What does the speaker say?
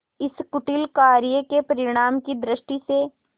इस कुटिल कार्य के परिणाम की दृष्टि से